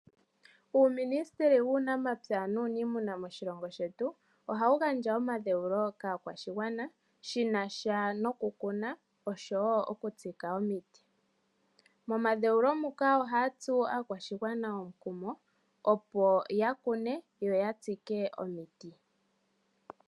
Uumunistili wunamapya nuunimuna moshilongo shetu ohawu gandja omandheulo kaakwashigwa shi nasha noku kuna, osho wo oku tsika omiti. Momadheulo muka ohaya tsu aakwashigwana omukumo ya kune yo ya tsike omiti